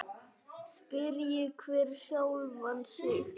Spyrji hver sjálfan sig.